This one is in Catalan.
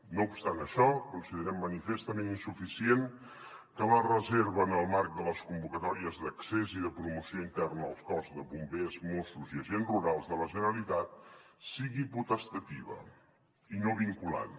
no obstant això considerem manifestament insuficient que la reserva en el marc de les convocatòries d’accés i de promoció interna als cossos de bombers mossos i agents rurals de la generalitat sigui potestativa i no vinculant